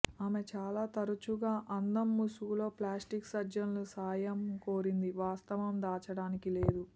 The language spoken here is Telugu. ఆమె చాలా తరచుగా అందం ముసుగులో ప్లాస్టిక్ సర్జన్లు సాయం కోరింది వాస్తవం దాచడానికి లేదు